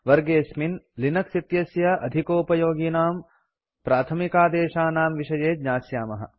वर्गेऽस्मिन् Linux इत्यस्य अधिकोपयोगिनां प्राथमिकादेशानां विषये ज्ञास्यामः